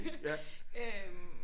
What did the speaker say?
Ja